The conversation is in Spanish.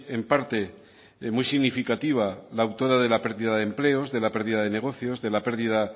en parte muy significativa la autora de la pérdida de empleos de la pérdida de negocios de la pérdida